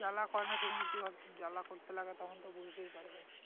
জ্বালা করেনা সেদিনকে অতো জ্বালা করতে লাগে তখন তো বুঝতেই পারবে